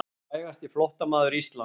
Frægasti flóttamaður Íslands.